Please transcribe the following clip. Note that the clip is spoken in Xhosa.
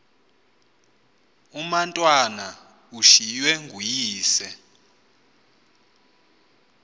umatwana ushiywe nguyise